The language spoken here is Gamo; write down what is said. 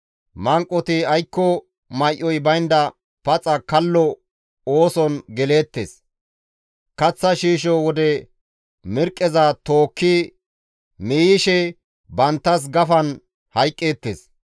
Manqoti aykko may7oy baynda paxa kallo ooson geleettes. Kaththa shiisho wode mirqqeza tookki miiyishe banttas gafan hayqqeettes.